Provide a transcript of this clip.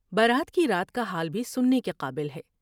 برات کی رات کا حال بھی سننے کے قابل ہے ۔